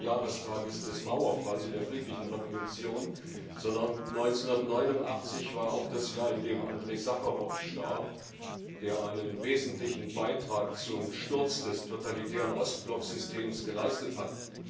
20. Jahrestag des Mauerfalls und der friedlichen Revolution, sondern 1989 war auch das Jahr, in dem Andrej Sacharow starb, der einen wesentlichen Beitrag zum Sturz des totalitären Ostblocksystems geleistet hat.